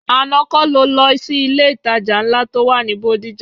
Àná kọ́ ni o lọ sí ilé-ìtajà ńlá tó wà ní Bódìjà?